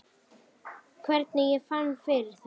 Hvernig ég fann fyrir þeim?